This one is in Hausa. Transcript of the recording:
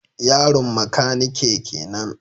Yaron makanike kenan